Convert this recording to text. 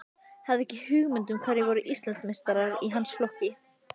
Hafði ekki hugmynd um hverjir voru Íslandsmeistarar í hans flokki.